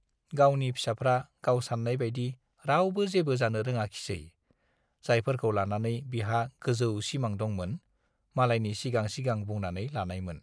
गावनि फिसाफ्रा गाव सान्नाय बाइदि रावबो जेबो जानो रोङाखिसै, जायफोरखौ लानानै बिहा गोजौ सिमां दंमोन, मालायनि सिगां सिगां बुंनानै लानायमोन।